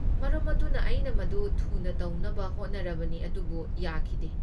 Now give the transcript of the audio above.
ꯃꯔꯝ ꯑꯗꯨꯅ ꯑꯩꯅ ꯃꯗꯨ ꯊꯨꯅ ꯇꯧꯅꯕ ꯍꯣꯠꯅꯔꯕꯅꯤ ꯑꯗꯨꯕꯨ ꯌꯥꯈꯤꯗꯦ꯫